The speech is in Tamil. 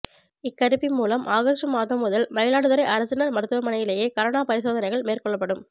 இக்கருவி மூலம் ஆகஸ்ட் மாதம் முதல் மயிலாடுதுறை அரசினர் மருத்துவமனையிலேயே கரோனா பரிசோதனைகள் மேற்கொள்ளப்படும்